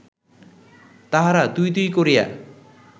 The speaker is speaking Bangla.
তাহারা ‘তুই’ ‘তুই’ করিয়া